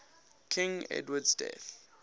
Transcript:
king edward's death